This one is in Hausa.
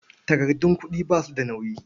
Takardun kuɗi ba su da nauyi.